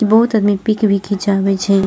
बहुत आदमी पिक भी खिचावे छै।